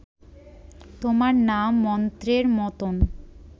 তোমার নাম মন্ত্রের মতন